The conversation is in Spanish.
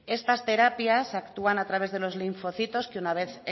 estas terapias actúan a través de los linfocitos que una vez